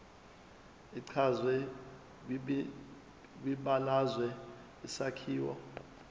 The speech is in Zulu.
echazwe kwibalazwe isakhiwo